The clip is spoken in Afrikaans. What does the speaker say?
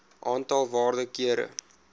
aantal waarde kere